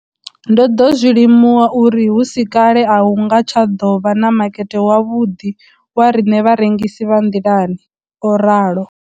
Ndo ḓo zwi limuwa uri hu si kale a hu nga tsha ḓo vha na makete wavhuḓi wa riṋe vharengisi vha nḓilani, o ralo.